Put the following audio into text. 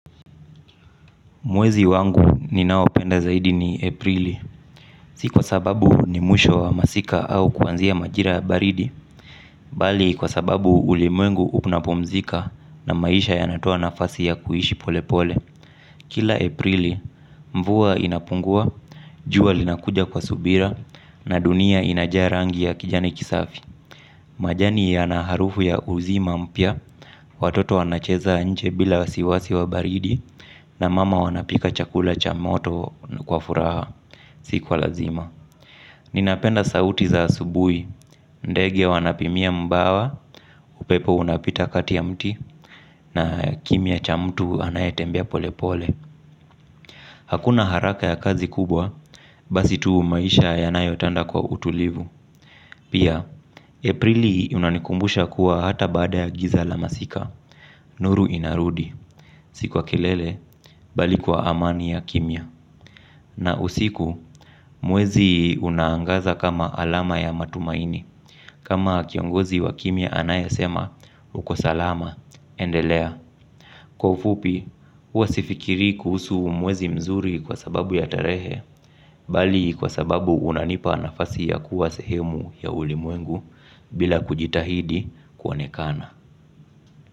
Mwezi wangu ni ninaoupenda zaidi ni aprili, si kwa sababu ni mwisho wa masika au kuanzia majira ya baridi, bali kwa sababu ulimwengu unapumzika na maisha ya natoa nafasi ya kuishi pole pole. Kila. Aprili, mvuwa inapunguwa, juwa linakuja kwa subira, na dunia inajaa rangi ya kijani kisafi. Majani yana harufu ya uzima mpya, watoto wanacheza nje bila wasiwasi wa baridi, na mama wanapika chakula cha moto kwa furaha, sikwa lazima. Ninapenda sauti za asubuhi, ndege wanapimia mbawa, upepo unapita kati ya mti, na kimya cha mtu anayetembea pole pole. Hakuna haraka ya kazi kubwa, basi tu maisha ya nayotanda kwa utulivu. Pia, Aprili unanikumbusha kuwa hata baada ya giza la masika nuru inarudi, sikwa kelele, bali kwa amani ya kimya. Na usiku, mwezi unaangaza kama alama ya matumaini. Kama kiongozi wa kimya anayasema, uko salama, endelea. Kwaufupi, huwasifikirii kuhusu mwezi mzuri kwa sababu ya tarehe bali kwa sababu unanipa nafasi ya kuwa sehemu ya ulimwengu bila kujitahidi kuonekana.